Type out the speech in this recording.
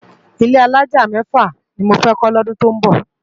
Ilé àlájá mèfá ni mó fè kó lódún tó nbó